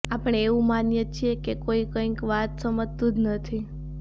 આપણે એવું માનીએ છીએ કે કોઈ કંઈ વાત સમજતું જ નથી